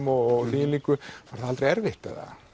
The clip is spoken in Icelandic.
og þvíumlíku var það aldrei erfitt